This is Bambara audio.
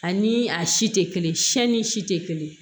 Ani a si tɛ kelen siɲɛnni si tɛ kelen ye